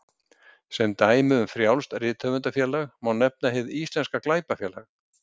Sem dæmi um frjálst rithöfundafélag má nefna Hið íslenska glæpafélag.